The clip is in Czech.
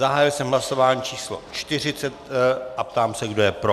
Zahájil jsem hlasování číslo 40 a ptám se, kdo je pro.